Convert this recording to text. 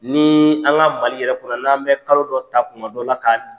Ni an ka Mali yɛrɛ kɔnɔ n'an bɛ kalo dɔ ta kuma dɔ la ka